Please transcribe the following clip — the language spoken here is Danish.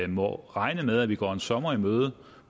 må regne med at vi går en sommer i møde